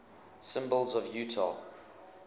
symbols of utah